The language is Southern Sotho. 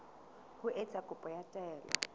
ho etsa kopo ya taelo